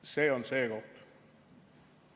See on see koht.